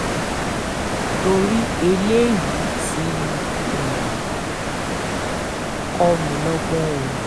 torí eléyìí ti um kọ́ mi lọ́gbọ́n o